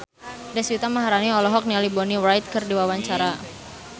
Deswita Maharani olohok ningali Bonnie Wright keur diwawancara